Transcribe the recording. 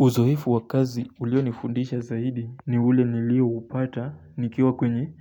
Uzoefu wa kazi ulionifundisha zaidi ni ule nilioupata nikiwa kwenye